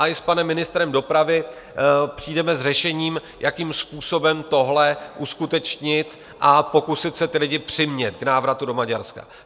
A i s panem ministrem dopravy přijdeme s řešením, jakým způsobem tohle uskutečnit a pokusit se ty lidi přimět k návratu do Maďarska.